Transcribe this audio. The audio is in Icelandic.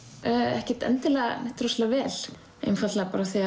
ekkert endilega neitt rosalega vel einfaldlega af því að